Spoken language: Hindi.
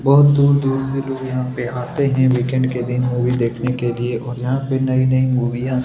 बहुत दूर-दूर से भी लोग यहाँ पे आते है वीकेंड के दिन मूवी देखने के लिए और यहाँ पे नई-नई मूवीया --